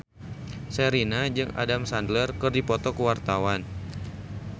Sherina jeung Adam Sandler keur dipoto ku wartawan